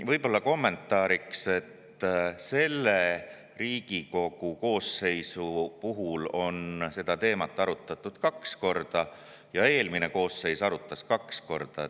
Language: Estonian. Võib-olla kommentaariks, et selles Riigikogu koosseisus on seda teemat arutatud kaks korda ja eelmine koosseis arutas kaks korda.